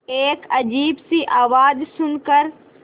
एक अजीब सी आवाज़ सुन कर